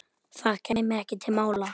Það kæmi ekki til mála.